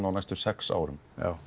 á næstu sex árum